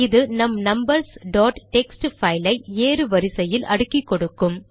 இது நம் numbers dot text file ஐ ஏறு வரிசையில் அடுக்கி கொடுக்கும்